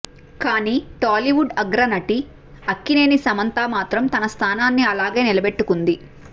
కానీ టాలీవుడ్ అగ్రనటి అక్కినేని సమంత మాత్రం తన స్థానాన్ని అలాగే నిలబెట్టుకుంది